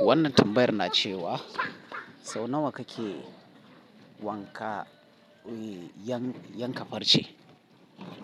Wannan tambayar na ce wa, sau nawa kake wanka-- yan-yanka farce?